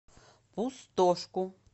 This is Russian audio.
пустошку